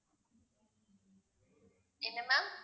என்ன ma'am